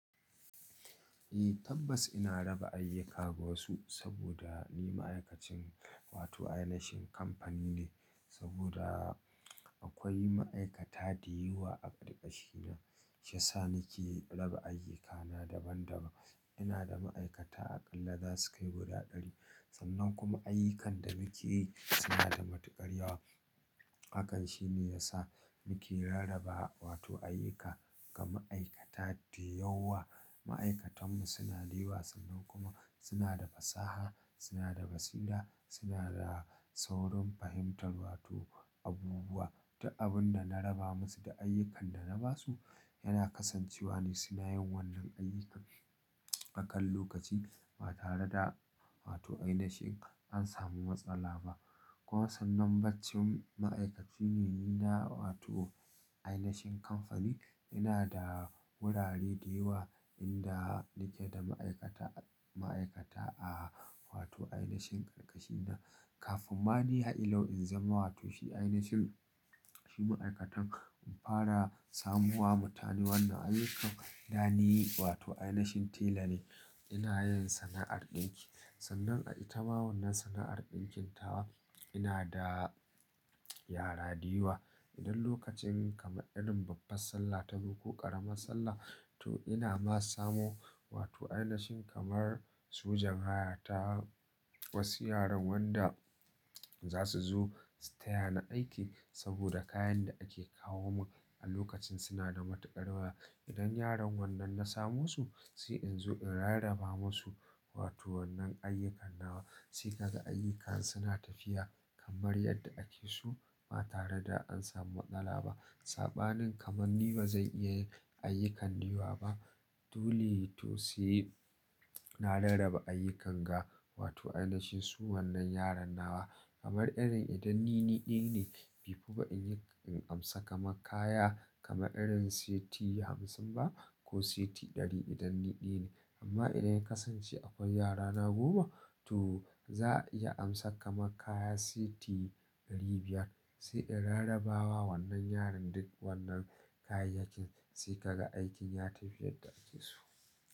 Eh tabbas ina raba ayyuka ga wasu saboda ni ma'aikacin wato ainihin kamfani ne saboda akwai ma'aikata da yawa a ƙarƙashina, shi ya sa nake raba ayyukana daban daban. Ina da ma'aikata aƙalla za su kai guda ɗari. Sannan kuma ayyukan da nake yi suna da matuƙar yawa. Hakan shi ne ya sa nake rarraba wato ayyuka ga ma'aikata da yawa. Ma'aikatanmu suna da yawa sannan kuma suna da fasaha, suna da basira, suna da saurin fahimtar wato abubuwa. Duk abun da na raba musu da ayyukan da na ba su yana kasancewa ne suna yin wannan ayyukan. Akan lokaci ba tare da wato ainihin an sami matsala ba. Kuma sannan bacin ma'aikaci ne ni na wato ainihin kamfani. Ina da wurare da yawa inda nake da ma'aikata, ma'aikata a wato ainihin ƙarƙashina. Kafin ma ni har ila yau in zama wato shi ainihin shi ma'aikatan in fara samowa mutane wannan ayyukan, da ni wato ainihin tela ne. Ina yin sana'ar ɗinki. Sannan a itama wannan sana'ar ɗinkin tawa ina da yara da yawa. Idan lokacin kamar irin babban Sallah tazo, ƙaramar Sallah to ina ma samo wato ainihin kamar sojan haya ta wasu yaran wanda za su zo su taya ni aiki saboda kayan da ake kawo min a lokacin suna da matuƙar yawa. Idan yaran wannan na samo su sai in zo in rarraba masu wato wannan ayyukan nawa sai ka ga ayyukan suna tafiya kamar yadda ake so ba tare da an samu matsala ba. Saɓanin kamar ni ba zan iya yin ayyukan da yawa ba. Dole to sai na rarraba ayyukan ga wato ainihin su wannan yaran nawa kamar irin idan ni ɗaya ne, bai fi ba in yi in amsa kamar kaya kama irin seti hamsin ba ko seti ɗari idan ni ɗaya ne. Amma idan ya kasance akwai yarana goma to za'a iya amsar kamar kaya siti ɗari biyar. Sai in rarraba wa wannan yaran duk wannan kayayyakin sai ka ga aikin ya tafi yadda ake so.